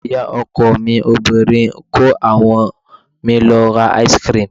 Ọmọ ìyá ọkọ mi obìnrin kó àwọn mi lọ ra ice cream.